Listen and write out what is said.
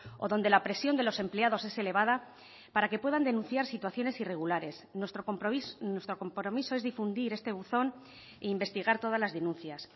o donde la presión de los empleados es elevada para que puedan denunciar situaciones irregulares nuestro compromiso es difundir este buzón e investigar todas las denuncias